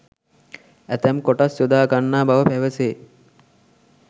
ඇතැම් කොටස් යොදා ගන්නා බව පැවසේ.